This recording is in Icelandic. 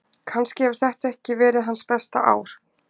Kannski hefur þetta ekki verið hans besta ár.